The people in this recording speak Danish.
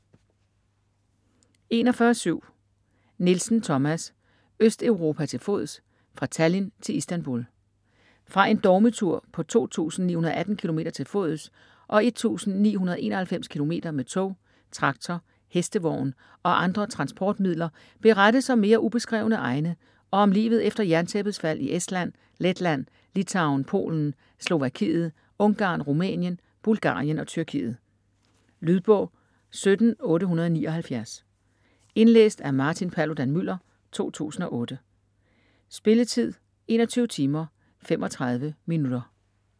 41.7 Nielsen, Thomas: Østeuropa til fods: fra Tallinn til Istanbul Fra en dogmetur på 2918 km til fods og 1991 km med tog, traktor, hestevogn og andre transportmidler berettes om mere ubeskrevne egne og om livet efter jerntæppets fald i Estland, Letland, Litauen, Polen, Slovakiet, Ungarn, Rumænien, Bulgarien og Tyrkiet. Lydbog 17879 Indlæst af Martin Paludan-Müller, 2008. Spilletid: 21 timer, 35 minutter.